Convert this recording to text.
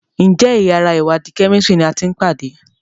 Njé yàrá iwadi Kẹ́mísìrì ní àti pàdé?